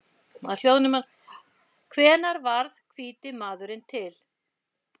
Hvenær varð hvíti maðurinn til?